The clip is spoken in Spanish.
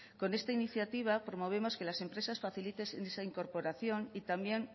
con esta iniciativa promovemos que las empresas faciliten esa incorporación y también